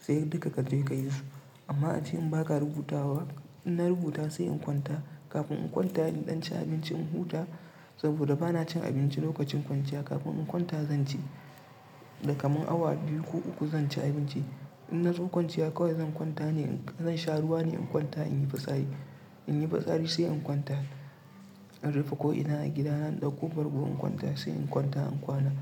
sai duka kaje kayi su. Amma ace in baka rubutawa ba in na rubuta sai in kwanta kafin in kwanta in ɗan ci abinci in huta saboda bana cin abinci lokacin kwanciya kafin in kwanta zan ci. Da kaman awa biyu ko uku zan ci abinci. In nazo kwanciya kawai zan kwanta ne zan sha ruwa ne in kwanta in yi fitsari. In yi fitsari sai in kwanta. In rufe ko ina a gidana in ɗauko bargon kwanta sai in kwanta in kwana.